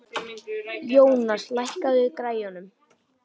Jónas, lækkaðu í græjunum.